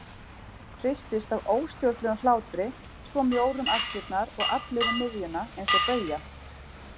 Hristist af óstjórnlegum hlátri, svo mjór um axlirnar og allur um miðjuna eins og bauja.